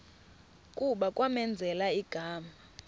kuba kwamenzela igama